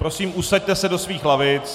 Prosím, usaďte se do svých lavic.